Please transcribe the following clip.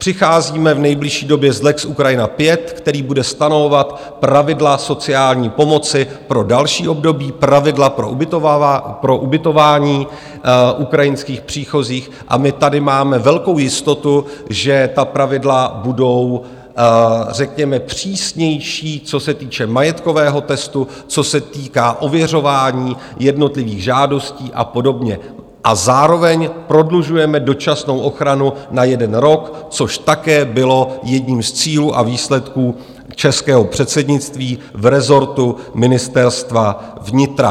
Přicházíme v nejbližší době s lex Ukrajina 5, který bude stanovovat pravidla sociální pomoci pro další období, pravidla pro ubytování ukrajinských příchozích, a my tady máme velkou jistotu, že ta pravidla budou řekněme přísnější, co se týče majetkového testu, co se týká ověřování jednotlivých žádostí a podobně, a zároveň prodlužujeme dočasnou ochranu na jeden rok, což také bylo jedním z cílů a výsledků českého předsednictví v rezortu Ministerstva vnitra.